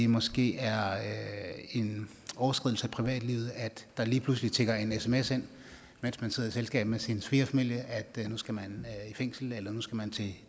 måske er en overskridelse af privatlivets fred at der lige pludselig tikker en sms ind mens man sidder i selskab med sin svigerfamilie om at nu skal man i fængsel eller nu skal man til